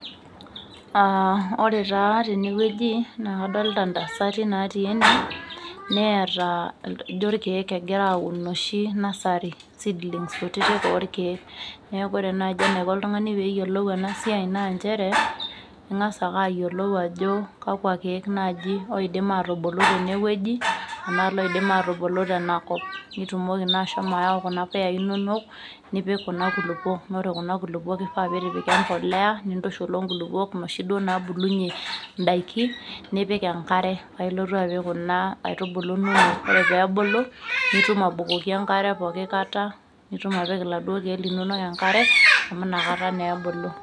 Aa ore taa tenewueji naa kadolita ntasati neeta ijo irkiek egira aun oshi nursery seedlings kutiti orkiek , niaku ore naji enaiko oltungani peyiolou enasiai naa nchere ingas ake ayiolou ajo kakwa kiek naji oidim atubulu tenewueji enaa loidim atubulu tenakop nitumong naa ashomo ayau kuna puyai inonoknipik kuna kulukwok, ore kuna kulukwak kifaa pitipika embolea nintushul onkulukuok noshi duo nabulunyie ndaiki nipik enkare paa ilotu apik kuna aitubulu inonok , ore peebulu nitum abukoki enkare pooki kata , nitum apik iladuo kiek linono enkare amu inakata naa ebulu.